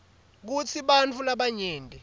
kutsi bantfu labanyenti